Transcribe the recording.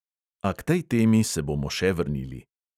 A k tej temi se bomo še vrnili ...